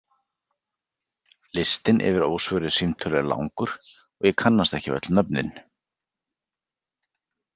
Listinn yfir ósvöruð símtöl er langur og ég kannast ekki við öll nöfnin.